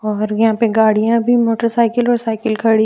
और यहां पे गाड़ियां भी मोटरसाइकिल और साइकिल खड़ी--